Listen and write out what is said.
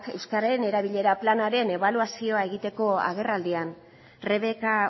euskararen erabilera planaren ebaluazioa egiteko agerraldiak rebeka